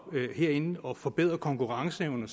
herinde og om forbedret konkurrenceevne